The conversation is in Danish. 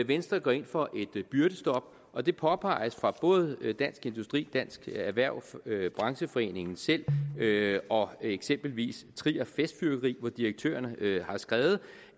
venstre går ind for et byrdestop og det påpeges af både dansk industri dansk erhverv brancheforeningen selv og eksempelvis trier festfyrværkeri hvor direktøren har skrevet